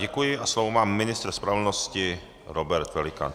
Děkuji a slovo má ministr spravedlnosti Robert Pelikán.